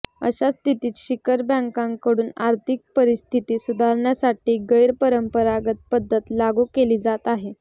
अशा स्थितीत शिखर बँकांकडून आर्थिक परिस्थिती सुधारण्यासाठी गैरपरंपरागत पद्धत लागू केली जात आहे